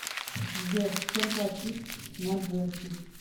сбер чем платить на джерси